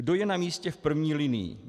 Kdo je na místě v první linii?